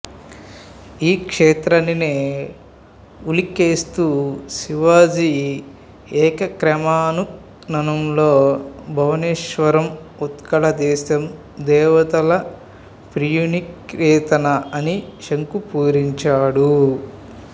ఈ క్షేత్రానినే ఉల్లేఖిస్తూ శివాజీ ఏకామ్రకాననంలో భువనేశ్వరం ఉత్కళ దేశం దేవతల ప్రియనికేతన అని శంఖు పూరించాడు